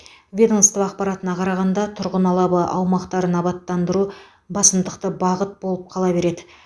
ведомство ақпаратына қарағанда тұрғын алабы аумақтарын абаттандыру басымдықты бағыт болып қала береді